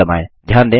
अब Enter दबाएँ